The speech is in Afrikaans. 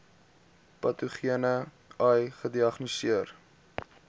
patogene ai gediagnoseer